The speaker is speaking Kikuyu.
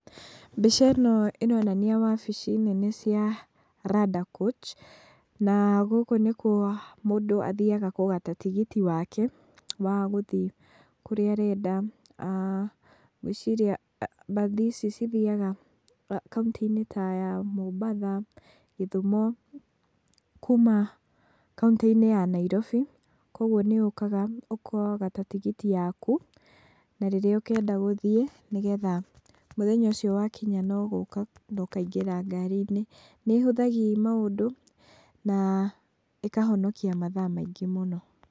Mbica ĩno ĩronania wabici nene cia Randa Coach na gũkũ nĩkuo mũndũ athiaga kũgata tigiti wake wa gũthiĩ kũrĩa arenda. Ngwĩciria mbathi ici cithiaga kauntĩ-inĩ ta ya Mombatha, gĩthumo, kuuma kauntĩ-inĩ ya Nairobi, koguo nĩ ũkaga ũkagata tigiti yaku, na rĩrĩa ũngĩenda gũthiĩ, nĩgetha mũthenya ũcio wakinya no gũka, ũkaingĩra ngari-inĩ. Nĩ ĩhũthagi maũndũ na ĩkahonokia mathaa maingĩ mũno.